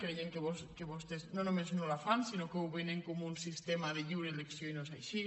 creiem que vostès no només no la fan sinó que ho venen com un sistema de lliure elecció i no és així